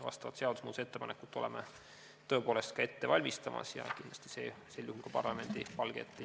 Vastavat seadusemuudatuse ettepanekut valmistame tõepoolest ka ette ja kindlasti see jõuab parlamendi palge ette.